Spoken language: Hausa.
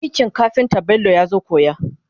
aikin kafinta Bello yazo koya